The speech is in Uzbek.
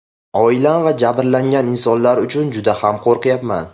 Oilam va jabrlangan insonlar uchun juda ham qo‘rqayapman.